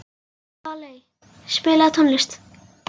Valey, spilaðu tónlist.